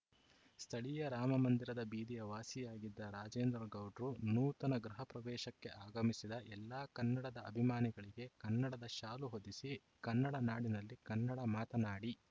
ಸ್ಥಳೀಯ ರಾಮಮಂದಿರದ ಬೀದಿಯ ವಾಸಿಯಾಗಿದ್ದ ರಾಜೇಂದ್ರ ಗೌಡ್ರು ನೂತನ ಗೃಹ ಪ್ರವೇಶಕ್ಕೆ ಆಗಮಿಸಿದ ಎಲ್ಲಾ ಕನ್ನಡದ ಅಭಿನಮಾನಿಗಳಿಗೆ ಕನ್ನಡದ ಶಾಲು ಹೊದಿಸಿ ಕನ್ನಡ ನಾಡಿನಲ್ಲಿ ಕನ್ನಡ ಮಾತನಾಡಿ